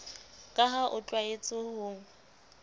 ka ha o tlwaetse ho